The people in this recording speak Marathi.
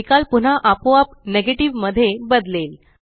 निकाल पुन्हा आपोआप नेगेटिव्ह मध्ये बदलेल